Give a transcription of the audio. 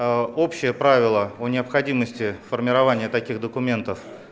ээ общее правило о необходимости формирования таких документов